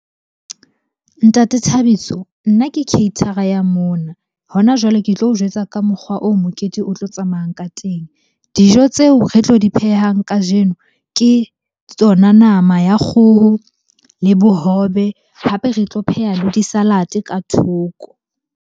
Ntate Thabiso nna ke caterer-a ya mona. Hona jwale, ke tlo o jwetsa ka mokgwa oo mokete o tlo tsamayang ka teng. Dijo tseo re tlo di phehang kajeno, ke tsona nama ya kgoho le bohobe. Hape re tlo pheha le di-salad-e ka thoko.